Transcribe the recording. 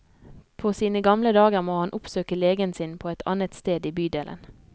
På sine gamle dager må han oppsøke legen sin på et annet sted i bydelen.